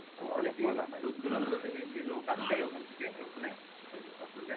দূর দূরান্ত থেকে কি লোক আসে ওখান থেকে ওখানে? ওই যে